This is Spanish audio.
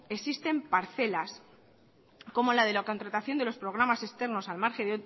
existen parcelas como la de la contratación de los programas externos al margen